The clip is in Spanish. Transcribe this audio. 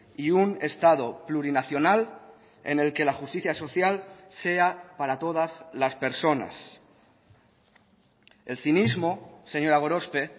y un estado plurinacional en el que la justicia social sea para todas las personas el cinismo señora gorospe